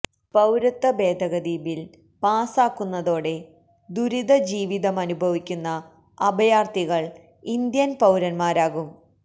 പൌരത്വ ഭേദഗതി ബില്ല് പാസാക്കുന്നതോടെ ദുരിത ജീവിതമനുഭവിക്കുന്ന അഭയാര്ത്ഥികള് ഇന്ത്യന് പൌരന്മാരാകും